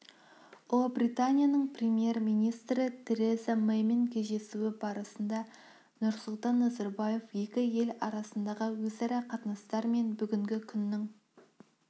ұлыбританияның премьер-министрі тереза мэймен кездесуі барысында нұрсұлтан назарбаев екі ел арасындағы өзара қатынастар мен бүгінгі күннің